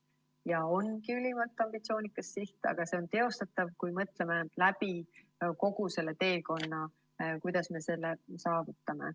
Ja see ongi ülimalt ambitsioonikas siht, aga see on teostatav, kui mõtleme läbi kogu selle teekonna, kuidas me selle saavutame.